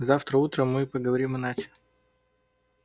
завтра утром мы поговорим иначе